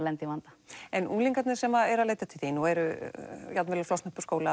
lendi í vanda en unglingarnir sem eru að leita til þín og eru jafn vel að flosna upp úr skóla